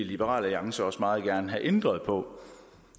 liberal alliance også meget gerne have ændret på